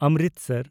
Amritsar